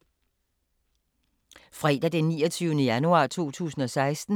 Fredag d. 29. januar 2016